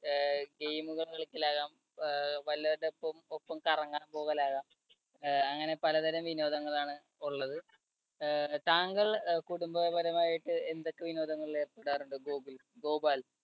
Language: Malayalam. ഏർ game കള്‍ കളിക്കലാകാം. അഹ് വല്ലവരുടെ ഒപ്പം കറങ്ങാൻ പോകലാകാം. അഹ് അങ്ങനെ പലതരം വിനോദങ്ങൾ ആണ് ഉള്ളത്. അഹ് താങ്കൾ കുടുംബപരമായിട്ട് എന്തൊക്കെ വിനോദങ്ങളിൽ ഏർപ്പെടാറുണ്ട് ഗോകുല്‍ ഗോപാൽ.